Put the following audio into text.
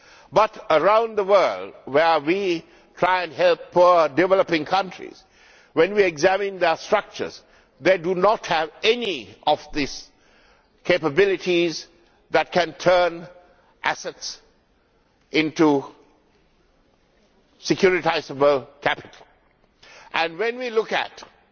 But around the world where we try and help poor developing countries, when we examine their structures, they do not have any of these capabilities that can turn assets into securitisable capital, and when we look at the